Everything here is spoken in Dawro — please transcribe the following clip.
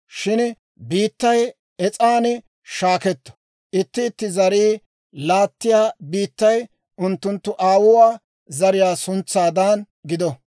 Shin biittay saamaan shaaketto; itti itti zarii laattiyaa biittay unttunttu aawuwaa zariyaa suntsaadan gido.